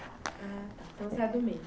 Ah, tá. Então, você é do meio.